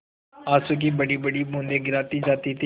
आँसू की बड़ीबड़ी बूँदें गिराती जाती थी